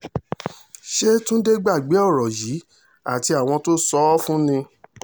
ṣe túnde gbàgbé ọ̀rọ̀ yìí àti àwọn tó sọ ọ́ fún ni